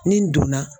Ni n donna